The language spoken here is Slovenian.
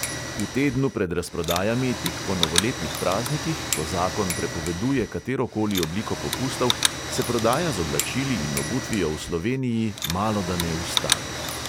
V tednu pred razprodajami, tik po novoletnih praznikih, ko zakon prepoveduje katero koli obliko popustov, se prodaja z oblačili in obutvijo v sloveniji malodane ustavi.